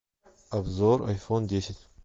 обзор айфон десять